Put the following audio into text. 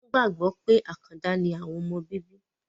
wọ́n gbàgbọ́ pé àkàndà ni àwọn ọmọ bíbí.